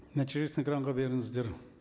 нәтижесін экранға беріңіздер